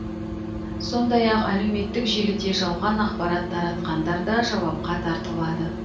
сондай ақ әлеуметтік желіде жалған ақпарат таратқандар да жауапқа тартылады